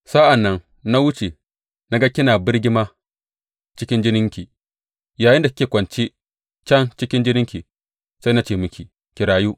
Sa’an nan na wuce na ga kina birgima cikin jininki, yayinda kike kwance can cikin jininki sai na ce miki, Ki rayu!